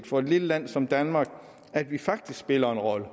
for et lille land som danmark at vi faktisk spiller en rolle